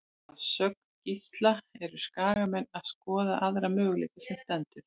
Að sögn Gísla eru Skagamenn að skoða aðra möguleika sem stendur.